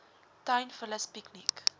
tuin vullis piekniek